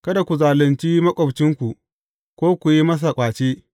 Kada ku zalunci maƙwabcinku, ko ku yi masa ƙwace.